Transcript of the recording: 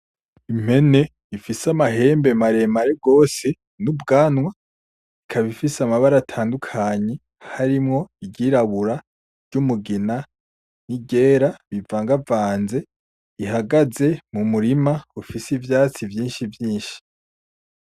Impene ifise amahembe maremare gose ni ubwanwa ikaba ifise amabara atandukanye harimwo iryirabura iryumugina niryera bivangavanze ihagaze mumurima ufise ivyatsi vyinshi vyinshi .